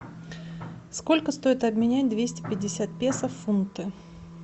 сколько стоит обменять двести пятьдесят песо в фунты